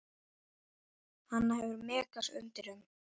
Hana hefur Megas sungið um.